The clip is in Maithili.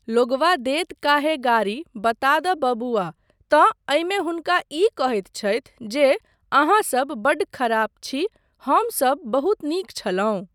लोगवा देत काहे गारी बता दऽ बबुआ, तँ एहिमे हुनका ई कहैत छथि जे अहाँसब बड्ड ख़राब छी हमसब बहुत नीक छलहुँ।